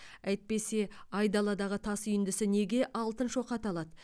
әйтпесе айдаладағы тас үйіндісі неге алтын шоқы аталады